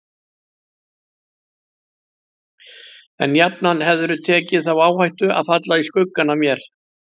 En jafnan hefðirðu tekið þá áhættu að falla í skuggann af mér.